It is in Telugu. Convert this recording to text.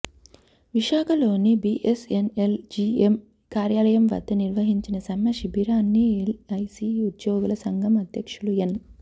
విశాఖలోని బిఎస్ఎన్ఎల్ జిఎం కార్యాలయం వద్ద నిర్వహించిన సమ్మె శిబిరాన్ని ఎల్ఐసి ఉద్యోగుల సంఘం అధ్యక్షులు ఎన్